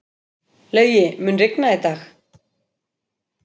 Laugi, mun rigna í dag?